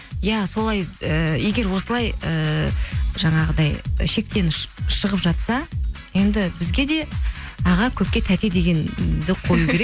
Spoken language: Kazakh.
иә солай ыыы егер осылай ыыы жаңағыдай шектен шығып жатса енді бізге де аға көке тәте дегенді қою керек